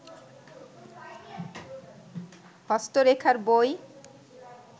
হস্ত রেখার বই